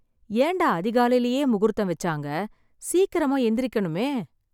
ஏண்டா அதிகாலைலயே முகூர்த்தம் வெச்சாங்க... சீக்கிரமா எந்திருக்கணுமே.